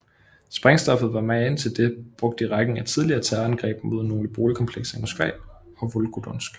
Sprængstoffet var magen til det brugt i rækken af tidligere terrorangreb mod nogle boligkomplekser i Moskva og Volgodonsk